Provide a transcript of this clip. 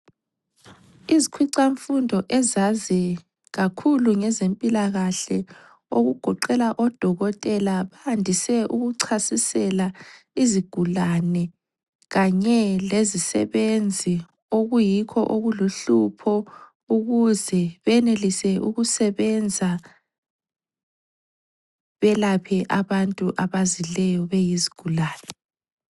Izikhwicamfundo ezazi kakhulu ngezempilakahle okugoqela odokotela bandise ukuchasisela izigulane kanye lezisebenzi okuyikho okuluhlupho ukuze benelise ukusebenza, belaphe abantu abazileyo beyizigulane.